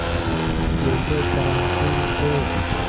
कैसे कर्मशील थे